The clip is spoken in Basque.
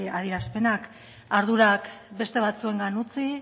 azkenak ardurak beste batzuengan utzi